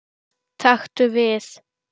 Taktu við.